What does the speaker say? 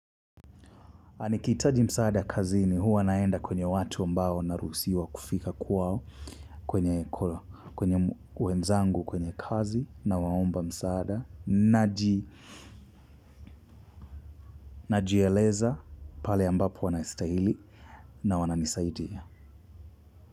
Na nihikitaji msaada kazini huwa naenda kwenye watu ambao naruhusiwa kufika kwao. Kwenye wenzangu kwenye kazi nawaomba msaada. Najieleza pale ambapo wanastahili na wana nisaidia.